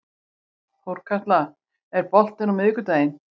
Þorkatla, er bolti á miðvikudaginn?